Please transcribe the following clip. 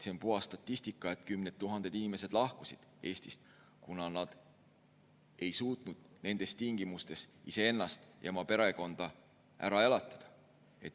See on puhas statistika, et kümned tuhanded inimesed lahkusid Eestist, kuna nad ei suutnud nendes tingimustes iseennast ja oma perekonda ära elatada.